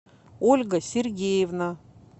ольга сергеевна